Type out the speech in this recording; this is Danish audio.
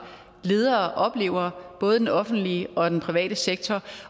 ledere oplever både i den offentlige og i den private sektor